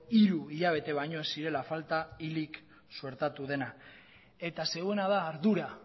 hiru hilabete baino ez zirela falta hilik suertatu dena eta zeuena da ardura